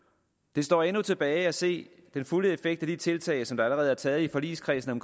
det står endnu tilbage at se den fulde effekt af de tiltag som der allerede er taget i forligskredsen